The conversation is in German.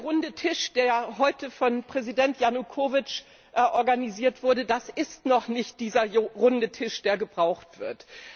Der Runde Tisch, der heute von Präsident Janukowitsch organisiert wurde, das ist noch nicht der Runde Tisch, der gebraucht wird.